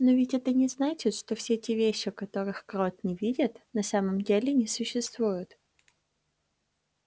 но ведь это не значит что все те вещи которых крот не видит на самом деле не существуют